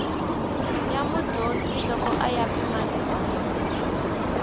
ya mudyondzi loko ya pimanisiwa